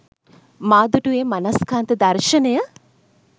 මා දුටු ඒ මනස්කාන්ත දර්ශනය